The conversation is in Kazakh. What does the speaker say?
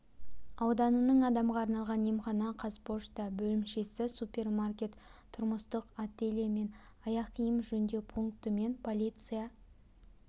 ауданының адамға арналған емхана қазпошта бөлімшесі супермаркет тұрмыстық ателье мен аяқ-киім жөндеу пункті мен полиция